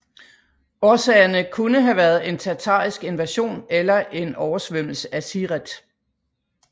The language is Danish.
Årsagerne kunne have været en tatarisk invasion eller en oversvømmelse af Siret